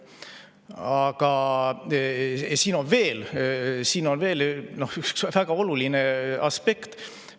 Aga siin on veel üks väga oluline aspekt.